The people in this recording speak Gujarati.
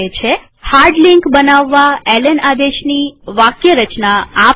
હાર્ડ લિંક બનાવવા એલએન આદેશની વાક્યરચના આ પ્રમાણે છે